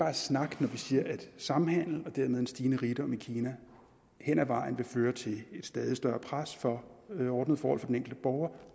er snak når vi siger at samhandel og dermed en stigende rigdom i kina hen ad vejen vil føre til et stadig større pres for ordnede forhold for den enkelte borger